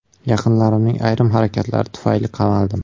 Yaqinlarimning ayrim harakatlari tufayli qamaldim.